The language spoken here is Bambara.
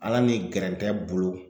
Ala ni gɛrɛntɛ bolo